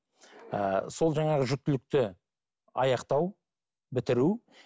ы сол жаңағы жүктілікті аяқтау бітіру